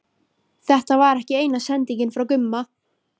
Þetta var ekki eina sendingin frá Gumma.